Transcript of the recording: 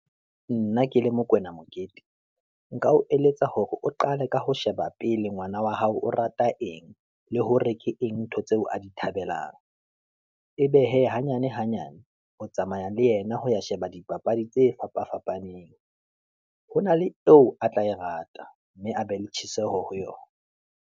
Nna ke le Mokoena Mokete, nka o eletsa hore o qale ka ho sheba pele ngwana wa hao o rata eng, le hore ke eng ntho tseo a di thabelang. Ebe hee, hanyane hanyane o tsamaya le yena, ho ya sheba dipapadi tse fapa fapaneng. Ho na le eo a tla e rata, mme a be le tjheseho ho yona.